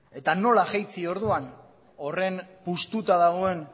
eta nola jaitsi orduan horren puztuta dagoen